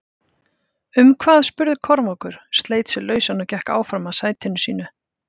Um hvað spurði Kormákur, sleit sig lausann og gekk áfram að sætinu sínu.